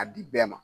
A di bɛɛ ma